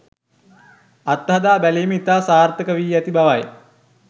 අත්හදා බැලීම් ඉතා සාර්ථක වී ඇති බවයි